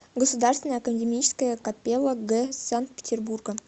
государственная академическая капелла г санкт петербурга